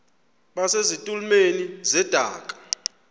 base zitulmeni zedaka